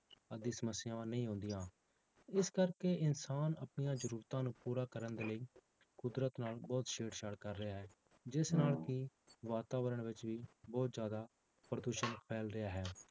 ਆਦਿ ਸਮੱਸਿਆਵਾਂ ਨਹੀਂ ਆਉਂਦੀਆਂ, ਇਸ ਕਰਕੇ ਇਨਸਾਨ ਆਪਣੀਆਂ ਜ਼ਰੂਰਤਾਂ ਨੂੰ ਪੂਰਾ ਕਰਨ ਦੇ ਲਈ ਕੁਦਰਤ ਨਾਲ ਬਹੁਤ ਛੇੜ ਛਾੜ ਕਰ ਰਿਹਾ ਹੈ, ਜਿਸ ਨਾਲ ਕਿ ਵਾਤਾਵਰਨ ਵਿੱਚ ਵੀ ਬਹੁਤ ਜ਼ਿਆਦਾ ਪ੍ਰਦੂਸ਼ਣ ਫੈਲ ਰਿਹਾ ਹੈ